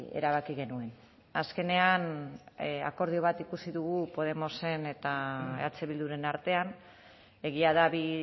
erabaki genuen azkenean akordio bat ikusi dugu podemosen eta eh bilduren artean egia da bi